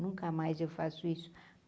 Nunca mais eu faço isso.